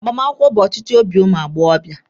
Ịgba akwụkwọ bụ ọchịchọ obi ụmụ agbọbịa.